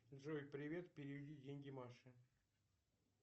джой привет переведи деньги маше